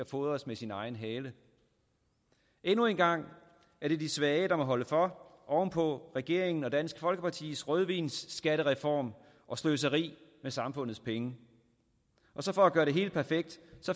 fodres med sin egen hale endnu en gang er det de svage der må holde for oven på regeringen og dansk folkepartis rødvinsskattereform og sløseri med samfundets penge og så for at gøre det helt perfekt